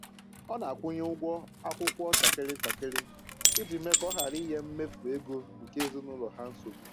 Ọ na-akwụnye ụgwọ akwụkwọ ntakịrị ntakịrị iji mee ka ọ hara inye mmefu ego nke ezinụlọ ha nsogbu